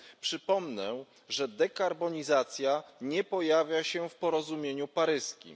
Przypomnę, że dekarbonizacja nie pojawia się w porozumieniu paryskim.